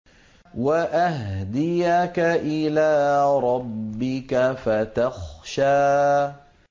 وَأَهْدِيَكَ إِلَىٰ رَبِّكَ فَتَخْشَىٰ